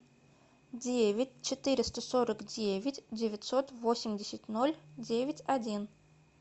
девять четыреста сорок девять девятьсот восемьдесят ноль девять один